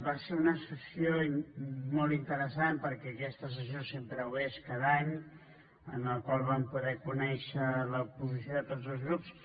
va ser una sessió molt interessant perquè aquesta sessió sempre ho és cada any en la qual vam poder conèixer la posició de tots els grups